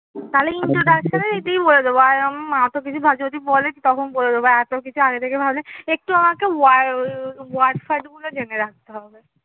তাহলে introduction এর এটাই বলে দেবো আর তখন বলে দেবো. এতো কিছু আগে থেকে ভাবলে একটু আমাকে word ফাট গুলো জেনে রাখতে হবে